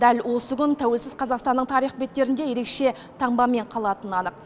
дәл осы күн тәуелсіз қазақстанның тарих беттерінде ерекше таңбамен қалатыны анық